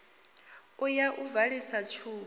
u ya u valisa tshubu